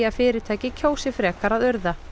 fyrirtæki kjósi frekar að urða